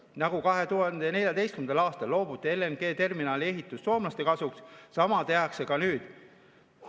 Nagu 2014. aastal loobuti LNG-terminali ehitusest soomlaste kasuks, sama tehakse ka nüüd.